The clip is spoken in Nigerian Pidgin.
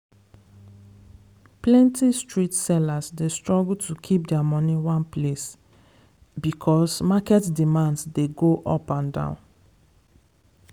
plenty street sellers dey struggle to kip their money one place because market demands dey go up and down.